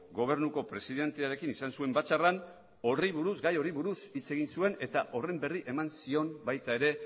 gobernuko presidentearekin izan zuen batzarrean gai horri buruz hitz egin zuen eta horren berri eman zion baita ere